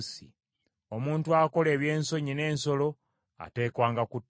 “Omuntu akola eby’ensonyi n’ensolo ateekwanga kuttibwa.